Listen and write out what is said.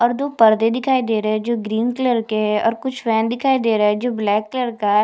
और दो परदे दिखाई दे रहे है जो ग्रीन कलर के है और कुछ फैन दिखाई दे रहे है जो ब्लैक कलर का है।